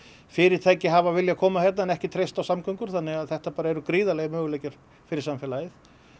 fyrirtæki hafa viljað koma hérna en ekki treyst á samgöngur þannig að þetta eru gríðarlegir möguleikar fyrir samfélagið